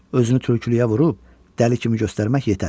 Özünü tülkülüyə vurub dəli kimi göstərmək yetər.